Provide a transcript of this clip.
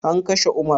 An kashe umar?